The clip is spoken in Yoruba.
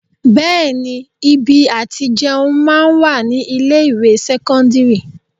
Bẹẹni ibi àti jẹun máa ń wà ní ilé ìwé sẹ́kọ́ńdírì.